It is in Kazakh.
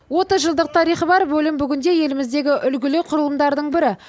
отыз жылдық тарихы бар бөлім бүгінде еліміздегі үлгілі құрылымдардың бірі